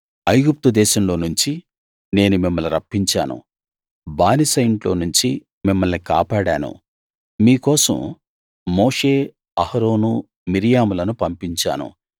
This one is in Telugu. ఐగుప్తు దేశంలో నుంచి నేను మిమ్మల్ని రప్పించాను బానిస ఇంట్లో నుంచి మిమ్మల్ని కాపాడాను మీ కోసం మోషే అహరోను మిర్యాములను పంపించాను